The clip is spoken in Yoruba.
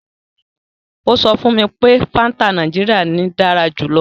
Ó sọ fún mi pé Fanta Nàìjíríà ni dára jù lọ.